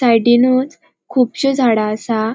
साइडीनुच कुबशी झाडा असा.